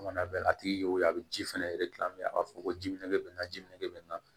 Mana bɛ a tigi y'o ye a bɛ ji fɛnɛ a b'a fɔ ko ji minɛ bɛ bɛ na ji minɛ